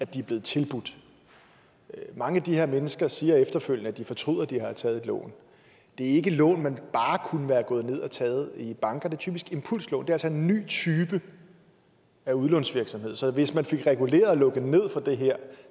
de er blevet tilbudt mange af de her mennesker siger efterfølgende at de fortryder at de har taget et lån det er ikke lån man bare kunne være gået ned at tage i banker det er typisk impulslån det er altså en ny type af udlånsvirksomhed så hvis man fik reguleret og lukket ned for det her